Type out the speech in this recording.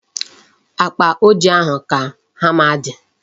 Akpa ojii ahụ ka hama dị.